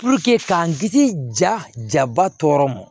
k'an kisi jaba tɔɔrɔ ma